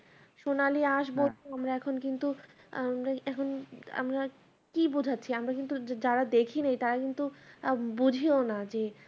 সোনালি আঁশ বলতে আমরা এখন কিন্তু এখন আমরা কি বোঝাচ্ছি আমরা কিন্তু যারা দেখিনি তারা কিন্তু আহ বুঝিও না যে